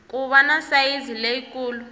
ku va na sayizi leyikulu